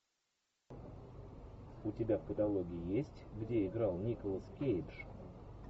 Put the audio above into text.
у тебя в каталоге есть где играл николас кейдж